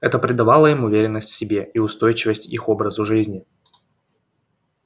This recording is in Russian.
это придавало им уверенность в себе и устойчивость их образу жизни